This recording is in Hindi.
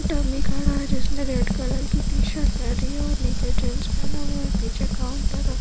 खड़ा हैं जिसने रेड कलर की टीशर्ट पहनी है और नीचे जीन्स पहना हुआ है पीछे काउंटर र --